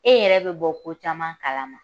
E yɛrɛ bi bɔ ko caman kalama